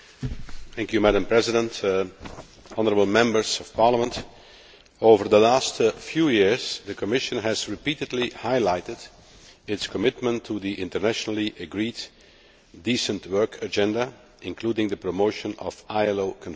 Madam President, over the last few years, the Commission has repeatedly highlighted its commitment to the internationally agreed Decent Work Agenda, including the promotion of ILO conventions.